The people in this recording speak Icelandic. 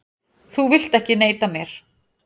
Þú vilt ekki neita mér.